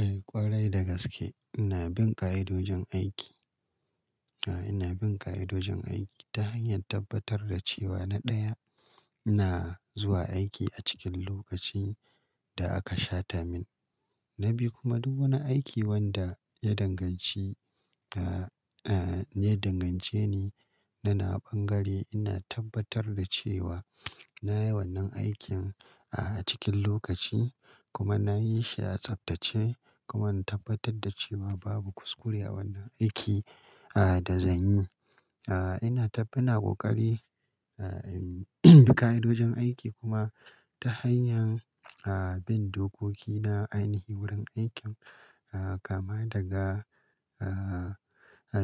Eh ƙwarai dagaske ina bin ƙa'idojin aiki. Aa ina bin ƙa'idojin aiki ta hanyar tabbatar da cewa na ɗaya, na zuwa aiki a cikin lokacin da aka shata min. Na bi kuma duk wani aiki wanda ya danganci, ya dangance ni. Na na ɓangare ina tabbatar da cewa na yi wannan aikin a cikin lokaci kuma na yi shi a tsaftace kuma na tabbatar da cewa babu kuskure a wannan aiki da zan yi. Ah ina tabbina ƙoƙari ƙa'idojin aiki kuma ta hanyar ah bin dokoki na ainihi wurin aikin kama daga